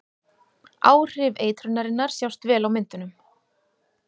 Áhrif eitrunarinnar sjást vel á myndunum.